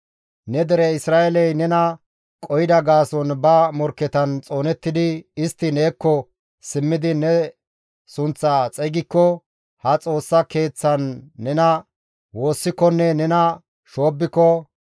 «Ne dere Isra7eeley nena qohida gaason ba morkketan xoonettidi istti neekko simmidi ne sunththaa xeygikko ha Xoossa Keeththan nena woossikonne nena shoobbiko,